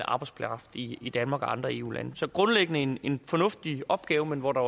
arbejdskraft i i danmark og andre eu lande så grundlæggende en en fornuftig opgave men hvor der